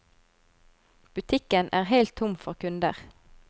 Butikken er helt tom for kunder.